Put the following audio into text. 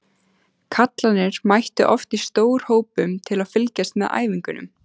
Kallarnir mættu oft í stórhópum til að fylgjast með æfingunum.